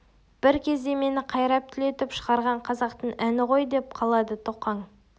бір кезде мені қайрап түлетіп шығарған қазақтың әні ғой деп қалады тоқаң